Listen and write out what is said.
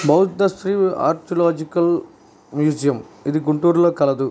Bauddhasri archaeological museum . ఇది గుంటూరులో కలదు.